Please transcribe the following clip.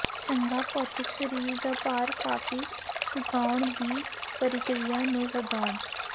ਚੰਗਾ ਭੌਤਿਕ ਸਰੀਰ ਦਾ ਭਾਰ ਕਾਫ਼ੀ ਸੁਕਾਉਣ ਦੀ ਪ੍ਰਕਿਰਿਆ ਨੂੰ ਵਧਾਉਣ